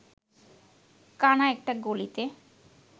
কানা একটা গলিতে